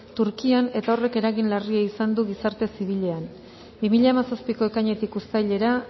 turkian eta hori eragin larria izan du gizarte zibilean bi mila hamazazpiko ekainetik uztailera